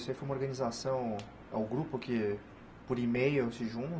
Isso aí foi uma organização, é um grupo que por e-mail se